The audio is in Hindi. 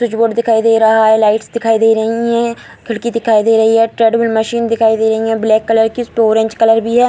स्विच बोर्ड दिखाइ दे रहा है लाइट्स दिखाई दे रही है खिड़की दिखाई दे रही हैं ट्रेड में मशीन दिखाई दे रही है ब्लैक कलर की उसे पे ऑरेंज कलर भी है।